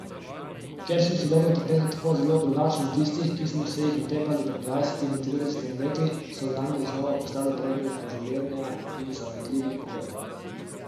Ker so sodobne tapete tako zelo drugačne od tistih, ki smo se jih otepali pred dvajsetimi, tridesetimi leti, so danes znova postale predmet poželenja in zavidljivih pogledov.